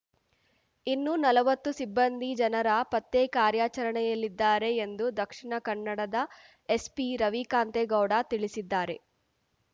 ಇನ್ನೂ ನಲ್ವತ್ತು ಸಿಬ್ಬಂದಿ ಜನರ ಪತ್ತೆ ಕಾರ್ಯಾಚರಣೆಯಲ್ಲಿದ್ದಾರೆ ಎಂದು ದಕ್ಷಿಣಕನ್ನಡದ ಎಸ್‌ಪಿ ರವಿಕಾಂತೇ ಗೌಡ ತಿಳಿಸಿದ್ದಾರೆ